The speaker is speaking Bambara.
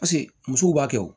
Paseke musow b'a kɛ wo